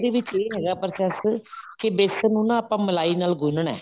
ਉਹਦੇ ਵਿੱਚ ਇਹ ਹੈਗਾ process ਕੇ ਬੇਸਨ ਨੂੰ ਆਪਾਂ ਮਲਾਈ ਦੇ ਵਿੱਚ ਗੁੰਨਣਾ